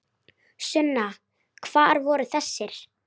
Sunna: Hvar voru þessir?